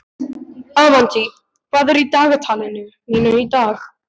Avantí, hvað er í dagatalinu mínu í dag?